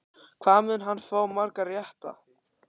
Hvað mun hann fá marga rétta?